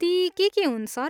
ती के के हुन्, सर?